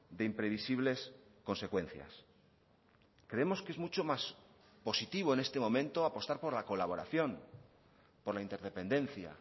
de imprevisibles consecuencias creemos que es mucho más positivo en este momento apostar por la colaboración por la interdependencia